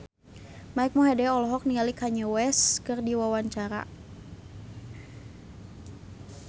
Mike Mohede olohok ningali Kanye West keur diwawancara